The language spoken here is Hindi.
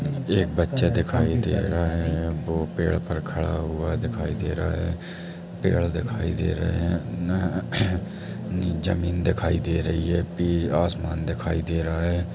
एक बच्चा दिखाई दे रहा हैं वो पेड़ पर खड़ा हुआ दिखाई दे रहा हैं पेड़ दिखाई दे रहे हैं नी ज़मीन दिखाई दे रही हैं पी आसमान दिखाई दे रहा हैं ।